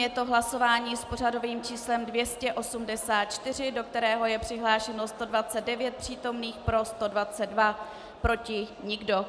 Je to hlasování s pořadovým číslem 284, do kterého je přihlášeno 129 přítomných, pro 122, proti nikdo.